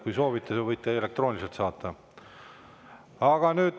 Kui soovite, võite elektrooniliselt saada.